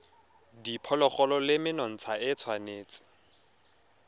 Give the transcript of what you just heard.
diphologolo le menontsha e tshwanetse